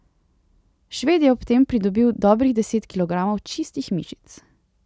Šved je ob tem pridobil dobrih deset kilogramov čistih mišic.